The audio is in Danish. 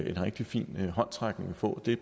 en rigtig fin håndsrækning at få det er